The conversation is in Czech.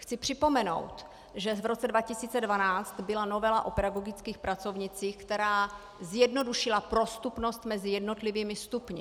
Chci připomenout, že v roce 2012 byla novela o pedagogických pracovnících, která zjednodušila prostupnost mezi jednotlivými stupni.